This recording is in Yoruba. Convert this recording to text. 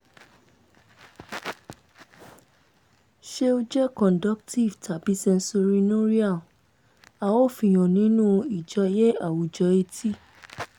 ṣé ó jẹ́ conductive tàbí sensorineural a ó fi han nínú ìjọ́yé àwùjọ etí